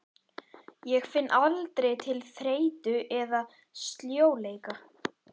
Ég finn aldrei til þreytu eða sljóleika.